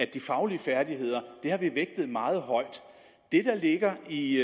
de faglige færdigheder meget højt det der ligger i